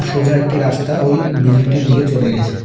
সোজা একটি রাস্তা ওই বিল্ডিং -টির দিকে চলে গেছে।